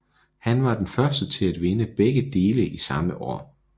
Han var den første til at vinde begge dele i samme år